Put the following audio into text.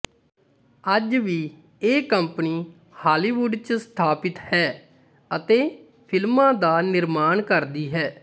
ਅੱਜ ਵੀ ਇਹ ਕੰਪਨੀ ਹਾੱਲੀਵੁੱਡ ਚ ਸਥਾਪਿਤ ਹੈ ਅਤੇ ਫਿਲਮਾਂ ਦਾ ਨਿਰਮਾਣ ਕਰਦੀ ਹੈ